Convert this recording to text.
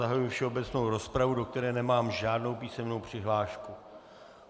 Zahajuji všeobecnou rozpravu, do které nemám žádnou písemnou přihlášku.